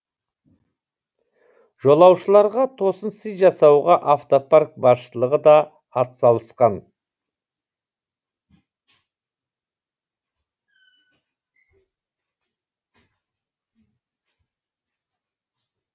жолаушыларға тосын сый жасауға автопарк басшылығы да атсалысқан